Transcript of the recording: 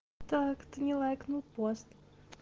так ты не лайкнул пост